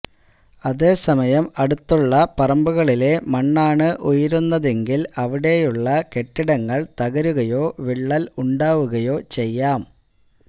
അതേസമയം അടുത്തുള്ള പറമ്പുകളിലെ മണ്ണാണ് ഉയരുന്നതെങ്കില് അവിടെയുള്ള കെട്ടിടങ്ങള് തകരുകയോ വിള്ളല് ഉണ്ടാവുകയോ ചെയ്യാം